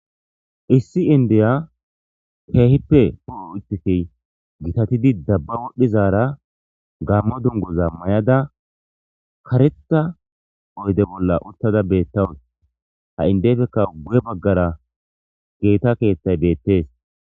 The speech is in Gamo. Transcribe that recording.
issi indeya keehippe po7o uttiki gitatidi dabba wodhdhizaara gammo dungoza may7ada kareta oyde bolla uttada beettawus ha indefeka gu7e baggara geeta keethtay beettees